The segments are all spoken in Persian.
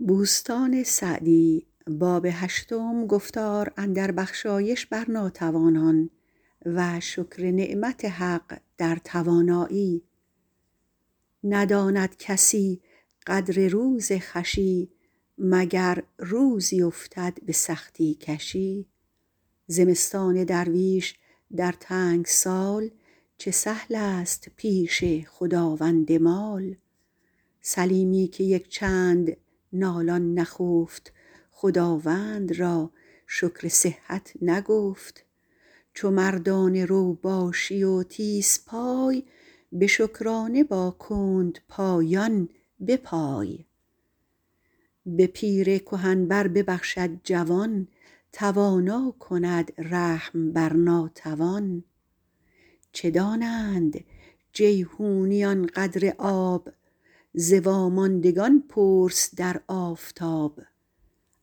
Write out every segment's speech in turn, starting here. نداند کسی قدر روز خوشی مگر روزی افتد به سختی کشی زمستان درویش در تنگ سال چه سهل است پیش خداوند مال سلیمی که یک چند نالان نخفت خداوند را شکر صحت نگفت چو مردانه رو باشی و تیز پای به شکرانه با کندپایان بپای به پیر کهن بر ببخشد جوان توانا کند رحم بر ناتوان چه دانند جیحونیان قدر آب ز واماندگان پرس در آفتاب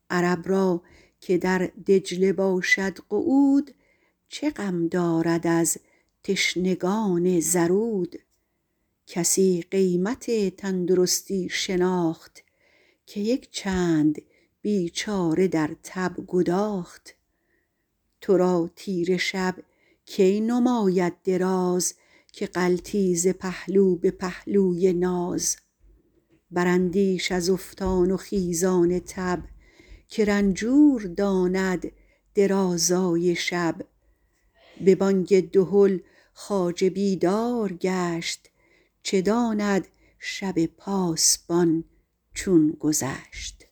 عرب را که در دجله باشد قعود چه غم دارد از تشنگان زرود کسی قیمت تندرستی شناخت که یک چند بیچاره در تب گداخت تو را تیره شب کی نماید دراز که غلطی ز پهلو به پهلوی ناز براندیش از افتان و خیزان تب که رنجور داند درازای شب به بانگ دهل خواجه بیدار گشت چه داند شب پاسبان چون گذشت